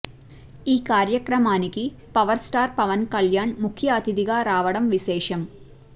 ఈ కార్యక్రమానికి power star Pawan Kalyan ముఖ్య అతిధిగా రావడం విశేషం